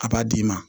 A b'a d'i ma